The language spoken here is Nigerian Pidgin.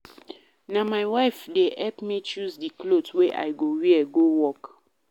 Na my wife dey help me choose di cloth wey I go wear go work.